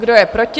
Kdo je proti?